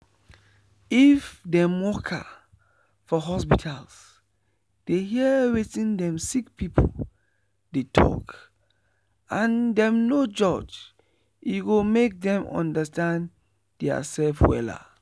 if dem worker for hospital dey hear wetin dem sick pipu dey talk and dem no judge e go make dem understand dia sef wella.